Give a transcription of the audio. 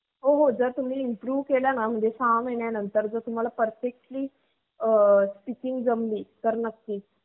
मुलांची आणि मुलींची सुद्धा आहे मुलींची पनास परेंत ये आणि त्यांच्या वर मग काही शंभरच्या पुढ काय पोर येत.